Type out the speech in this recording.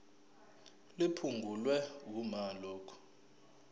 liphungulwe uma lokhu